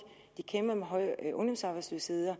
kæmper de med høj ungdomsarbejdsløshed og